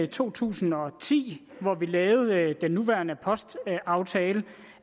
to tusind og ti hvor vi lavede den nuværende postaftale